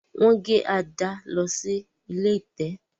Wón gé Ada ló sì ilé ẹ̀tẹ̀.